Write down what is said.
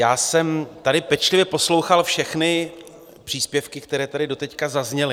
Já jsem tady pečlivě poslouchal všechny příspěvky, které tady doteď zazněly.